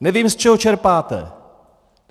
Nevím, z čeho čerpáte.